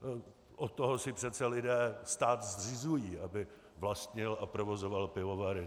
Od toho si přece lidé stát zřizují, aby vlastnil a provozoval pivovary.